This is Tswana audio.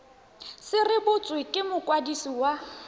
se rebotswe ke mokwadisi wa